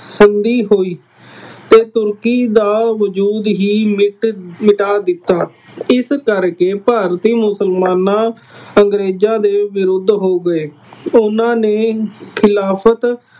ਸੰਧੀ ਹੋਈ ਅਤੇ ਤੁਰਕੀ ਦਾ ਵਜ਼ੂਦ ਹੀ ਮਿਟ ਮਿਟਾ ਦਿੱਤਾ। ਇਸ ਕਰਕੇ ਭਾਰਤੀ ਮੁਸਲਮਾਨਾਂ ਅੰਗਰੇਜ਼ਾਂ ਦੇ ਵਿਰੁੱਧ ਹੋ ਗਏ। ਉਹਨਾ ਨੇ ਖਿਲਾਫਤ